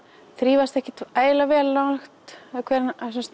þrífast ekkert ægilega vel nálægt hverri